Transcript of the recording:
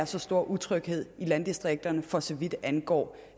så stor utryghed i landdistrikterne for så vidt angår